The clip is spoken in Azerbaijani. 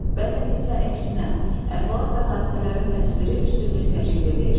Bəzən isə əksinə, əhvalat və hadisələrin təsviri üstünlük təşkil eləyir.